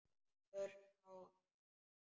Örfá ár.